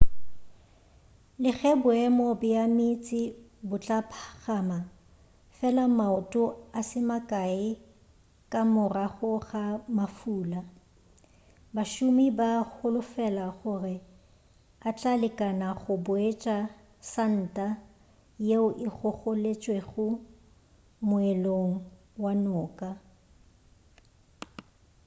le ge boemo bja meetse bo tla phagama fela maoto a se makae ka morago ga mafula bašomi ba holofela gore a tla lekana go boetša santa yeo e gogoletšwego moelong wa noka